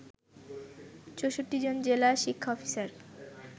৬৪ জন জেলা শিক্ষা অফিসার